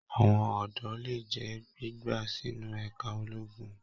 Àwọn ọdọ lè jẹ gbígba sínú ẹka ológun.